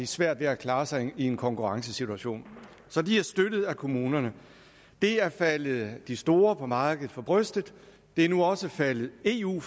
svært ved at klare sig i en konkurrencesituation så de er støttet af kommunerne det er faldet de store på markedet for brystet det er nu også faldet eu